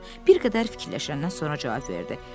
Dovşan bir qədər fikirləşəndən sonra cavab verdi.